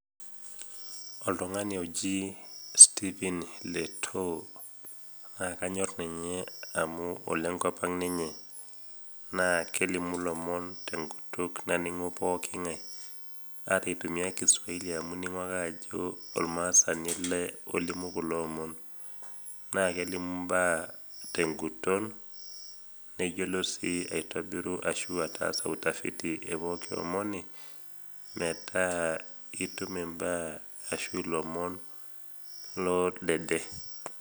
Oltung'ani oji Stephen Letoo naakanyorr ninye amu olenkop ang' ninye naa kelimu lomon tenkutuk naning'u pooking'ai. Ata eitumia kiswaili amu ining'u ake ajo olmaasani ele olimu kuloomon naakelimu imbaa ten'guton neyiolo sii aitobiru ashuu ataasa utafiti e pooki omoni metaa itum imbaa ashu lomon loodede.